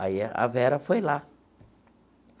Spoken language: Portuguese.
Aí a Vera foi lá.